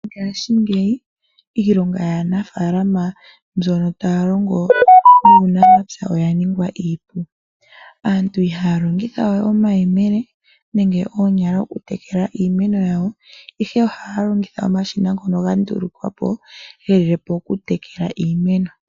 Mongashingeyi iilonga yaanafalama mbyoka taya longo yuunamapya, oya ningwa iipu. Aantu ihaya longitha we omayemele nenge oonyala oku tekela iimeno yawo, ihe ohaya longitha omashina ngoka ga ndulukwapo, ge lilepo oku tekela iimeno.